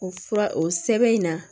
O fura o sɛbɛn in na